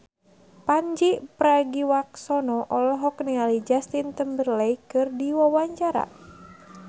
Pandji Pragiwaksono olohok ningali Justin Timberlake keur diwawancara